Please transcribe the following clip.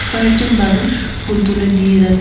কয়েকজন মানুষ ফুল তুলে নিয়ে যা--